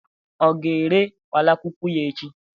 ọ ga-ere kpalakwukwu ya echi?